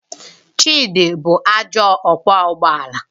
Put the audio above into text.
Chidi bụ ajọ ọkwọ ụgbọ ala